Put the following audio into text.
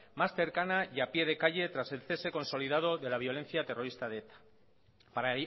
más cercana y a pie de calle tras el cese consolidado de la violencia terrorista de eta para